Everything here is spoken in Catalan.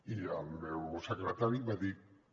i el meu secretari va dir que